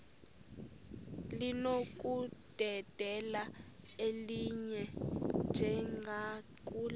linokudedela elinye njengakule